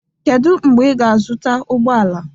Kedu mgbe ị ga-azụta ụgbọ ala?